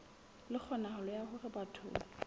le kgonahalo ya hore batho